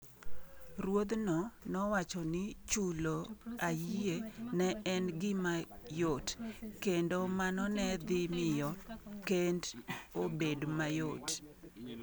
Ruodh'no nowacho ni chulo ayie ne en gima yot, kendo mano ne dhi miyo kend obed mayot.